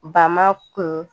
Ba ma kun